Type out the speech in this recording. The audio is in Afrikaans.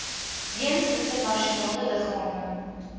jeens internasionale liggame